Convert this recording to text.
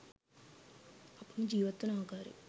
අපම ජීවත්වන ආකාරය